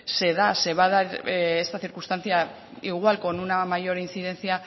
se da se va a dar esta circunstancia igual con una mayor incidencia